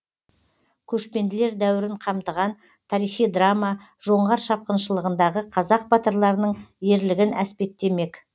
көшпенділер дәуірін қамтыған тарихи драма жоңғар шапқыншылығындағы қазақ батырларының ерлігін әспеттемек